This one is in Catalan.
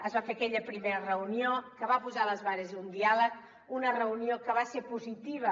es va fer aquella primera reunió que va posar les bases d’un diàleg una reunió que va ser positiva